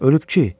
Ölüb ki?